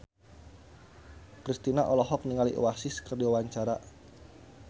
Kristina olohok ningali Oasis keur diwawancara